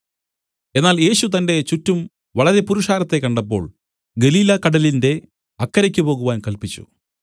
എന്നാൽ യേശു തന്റെ ചുറ്റും വളരെ പുരുഷാരത്തെ കണ്ടപ്പോൾ ഗലീലാകടലിന്റെ അക്കരയ്ക്ക് പോകുവാൻ കല്പിച്ചു